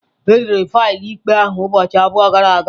Edere faịlụ ikpe ahụ ụbọchị abụọ gara aga.